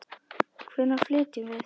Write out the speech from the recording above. Hvenær flytjum við?